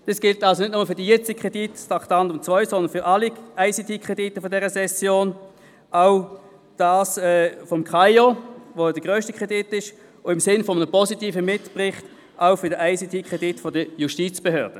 Dies gilt nicht nur für diesen Kredit unter dem Traktandum 2, sondern für alle ICT-Kredite dieser Session, so auch für den Kredit des KAIO als grössten Kredit und im Sinn eines positiven Mitberichts auch für den ICT-Kredit der Justizbehörden.